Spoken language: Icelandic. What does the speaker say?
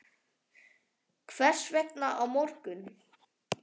Hvers vegna á morgun?